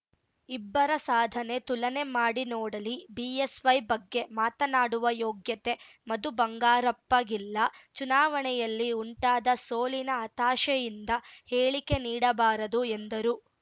ಇಬ್ಬರ ಸಾಧನೆ ತುಲನೆ ಮಾಡಿ ನೋಡಲಿ ಬಿಎಸ್‌ವೈ ಬಗ್ಗೆ ಮಾತನಾಡುವ ಯೋಗ್ಯತೆ ಮಧು ಬಂಗಾರಪ್ಪಗಿಲ್ಲ ಚುನಾವಣೆಯಲ್ಲಿ ಉಂಟಾದ ಸೋಲಿನ ಹತಾಶೆಯಿಂದ ಹೇಳಿಕೆ ನೀಡಬಾರದು ಎಂದರು